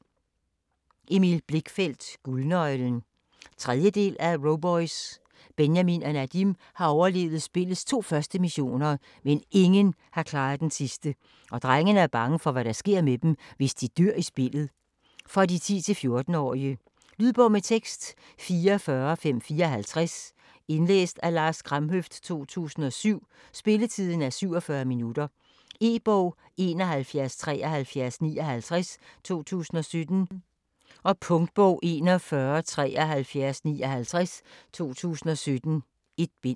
Blichfeldt, Emil: Guldnøglen 3. del af Roboys. Benjamin og Nadim har overlevet spillets første 2 missioner, men ingen har klaret den sidste, og drengene er bange for hvad der sker med dem, hvis de dør i spillet. For 10-14 år. Lydbog med tekst 44554 Indlæst af Lars Kramhøft, 2007. Spilletid: 0 timer, 47 minutter. E-bog 717359 2017. Punktbog 417359 2017. 1 bind.